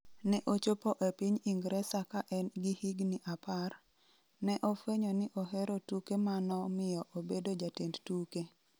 Ne ochopo e piny Ingresa ka en gi higni apar, ne ofwenyo ni ohero tuke ma nomiyo obedo jatend tuke.